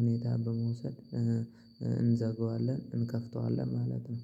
ሁኔታ በመውሰድ እንዘጋዋለን እንከፍተዋለን ማለት ነው